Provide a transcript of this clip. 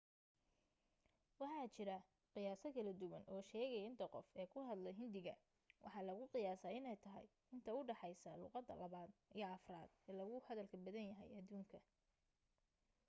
waxa jira qiyaaso kala duwan oo sheegaya inta qof ee ku hadla hindiga waxa lagu qiyaasaa inay tahay inta u dhexaysa luuqadda labaad iyo afraad ee loogu hadalka badan yahay adduunka